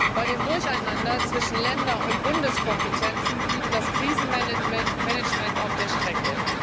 Bei dem Durcheinander zwischen Länder und Bundeskompetenzen blieb das Krisenmanagement auf der Strecke.